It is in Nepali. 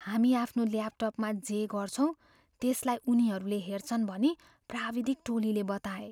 हामी आफ्नो ल्यापटपमा जे गर्छौँ त्यसलाई उनीहरूले हेर्छन् भनी प्राविधिक टोलीले बताए।